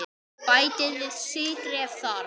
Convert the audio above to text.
Bætið við sykri ef þarf.